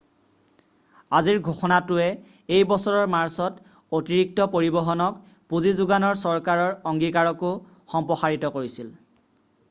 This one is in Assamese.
আজিৰ ঘোষণাটোৱে এই বছৰৰ মাৰ্চত অতিৰিক্ত পৰিবহনক পুঁজি যোগানৰ চৰকাৰৰ অংগীকাৰকো সম্প্ৰসাৰিত কৰিছিল